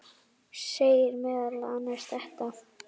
segir meðal annars þetta